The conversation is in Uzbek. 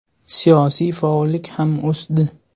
Siyosiy faollik ham o‘sdi.